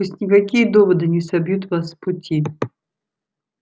пусть никакие доводы не собьют вас с пути